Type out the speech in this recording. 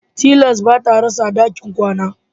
Tilas ba ta rasa dakin kwana